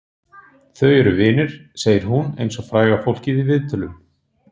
Þau eru vinir, segir hún eins og fræga fólkið í viðtölum.